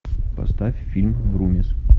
поставь фильм врумиз